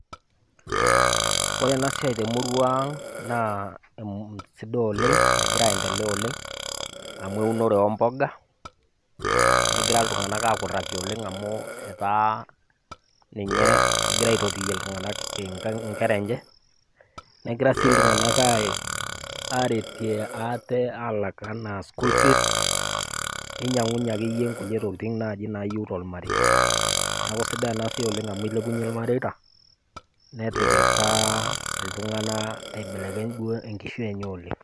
Ore ena siai temurua ang naa sidai oleng, negira aendelea oleng amu eunore omboga, negira iltung'ana akuraki oleng amu etaa ninye egira aitotiyie iltung'ana inkera enche, negira sii iltung'ana aretie ate alak anaa school fees neinyang'unye akeyie kulie tokitin naaji nayeu tolmarie, neaku sidai ena siai oleng amu eilepunyie ilmareita, netipika iltung'ana aibelekeny enkishui enye duo oleng.